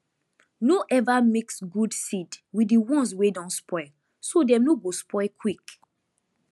no ever mix good seed with the ones wey don spoil so dem no go spoil quick